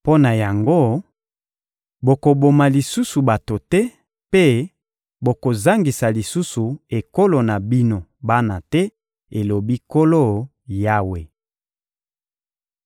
mpo na yango, bokoboma lisusu bato te mpe bokozangisa lisusu ekolo na bino bana te, elobi Nkolo Yawe.